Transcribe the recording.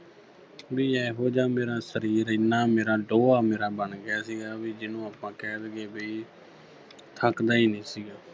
ਵੀ ਏਹੋ ਜਿਹਾ ਮੇਰਾ ਸਰੀਰ ਇੰਨਾ ਮੇਰਾ ਮੇਰਾ ਬਣ ਗਿਆ ਸੀ ਵੀ ਜਿਹਨੂੰ ਆਪਾਂ ਕਹਿ ਦੇਈਏ ਵੀ ਥੱਕਦਾ ਹੀ ਨਈ ਸੀਗਾ